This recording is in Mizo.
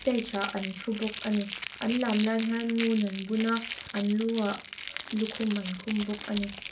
stage ah an thu bawk ani an lam lai hian ngun an bun a an lu ah ah lukhum an khum bawk ani.